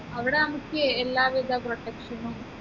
അവിടെ നമുക്ക് എല്ലാവിധ protection നും